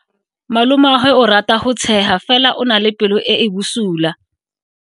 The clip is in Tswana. Malomagwe o rata go tshega fela o na le pelo e e bosula.